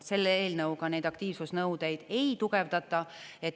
Selle eelnõuga neid aktiivsusnõudeid ei tugevdata.